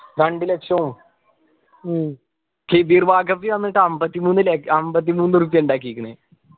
രണ്ടു ലക്ഷോ ഷെബീർ വന്നിട്ട് അമ്പത്തിമൂന്ന് ല അമ്പത്തിമൂന്നു ഉറുപ്പിയ ഉണ്ടാക്കിക്കുണ്